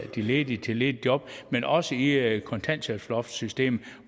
de ledige til ledige job men også i kontanthjælpsloftssystemet